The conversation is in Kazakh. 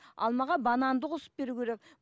алмаға бананды қосып беру керек